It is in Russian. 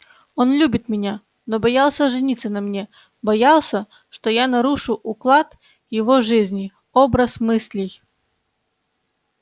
он любит меня но боялся жениться на мне боялся что я нарушу уклад его жизни образ мыслей